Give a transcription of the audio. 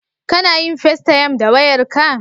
Kana yin festayam da wayarka?